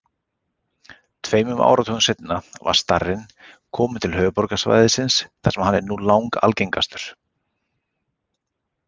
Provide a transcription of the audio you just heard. Tveimur áratugum seinna var starinn kominn til höfuðborgarsvæðisins þar sem hann er nú langalgengastur.